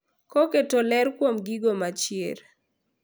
Koketo ler kuom geno mar chier.